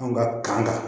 An ka kan